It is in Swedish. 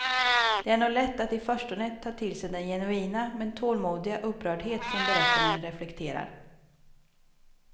Det är nog lätt att i förstone ta till sig den genuina men tålmodiga upprördhet som berättaren reflekterar.